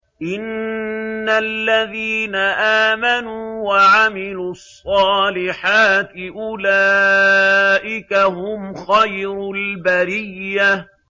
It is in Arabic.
إِنَّ الَّذِينَ آمَنُوا وَعَمِلُوا الصَّالِحَاتِ أُولَٰئِكَ هُمْ خَيْرُ الْبَرِيَّةِ